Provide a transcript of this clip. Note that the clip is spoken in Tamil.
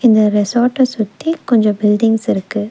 இந்த ரெசாட்ட சுத்தி கொஞ்ச பில்டிங்ஸ் இருக்கு.